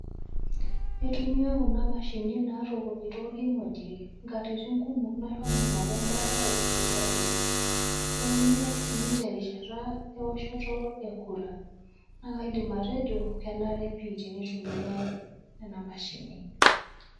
Aitumia kuna mashinini natukunyi tolkimojik, nkatitin kumokm nashomo aing'oru embaata te sipitali, naitumia sii te rishata eoshoto ekura. Naa kaidim atejo, kenare pii teneitumiai kuna mashinini.